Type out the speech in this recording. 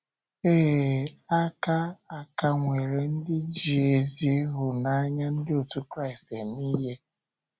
Ee, a ka, a ka nwere ndị ji ezi ịhụnanya Ndị otú Kraịst éme ịhe.